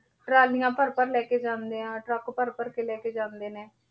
ਟਰਾਲੀਆਂ ਭਰ ਭਰ ਲੈ ਕੇ ਜਾਂਦੇ ਆ, ਟਰੱਕ ਭਰ ਭਰ ਕੇ ਲੈ ਕੇ ਜਾਂਦੇ ਨੇ,